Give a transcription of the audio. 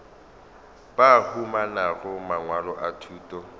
ba humanago mangwalo a thuto